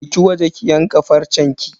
Je ki waje ki yanka farcenki.